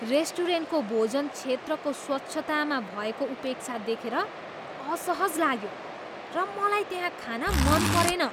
रेस्टुरेन्टको भोजन क्षेत्रको स्वच्छतामा भएको उपेक्षा देखेर असहज लाग्यो र मलाई त्यहाँ खान मन परेन।